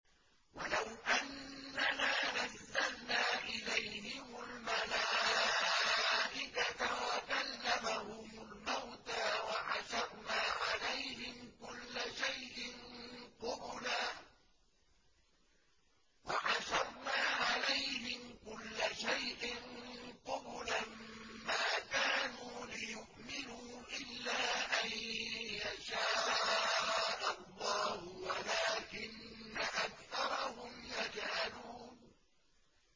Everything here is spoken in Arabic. ۞ وَلَوْ أَنَّنَا نَزَّلْنَا إِلَيْهِمُ الْمَلَائِكَةَ وَكَلَّمَهُمُ الْمَوْتَىٰ وَحَشَرْنَا عَلَيْهِمْ كُلَّ شَيْءٍ قُبُلًا مَّا كَانُوا لِيُؤْمِنُوا إِلَّا أَن يَشَاءَ اللَّهُ وَلَٰكِنَّ أَكْثَرَهُمْ يَجْهَلُونَ